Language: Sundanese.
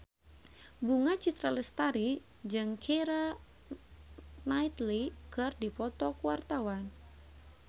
Bunga Citra Lestari jeung Keira Knightley keur dipoto ku wartawan